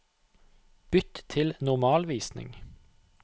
Bytt til normalvisning